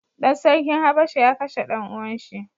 Ɗan sarkin habasha ya kashe ɗan uwan shi.